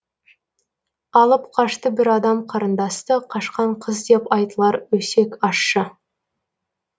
алып қашты бір адам қарындасты қашқан қыз деп айтылар өсек ашщы